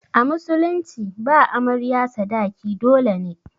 A musulunci ba amarya sadaki dole ne.